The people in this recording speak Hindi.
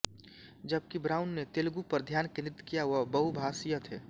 जबकि ब्राउन ने तेलुगु पर ध्यान केंद्रित किया वह बहुभाषीय थे